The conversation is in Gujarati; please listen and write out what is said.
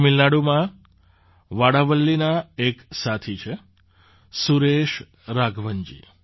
તમિલનાડુમાં વાડાવલ્લીના એક સાથી છે સુરેશ રાઘવનજી